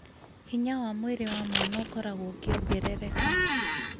Hinya wa mwĩrĩ wa mwana ũkoragwo ũkĩongerereka,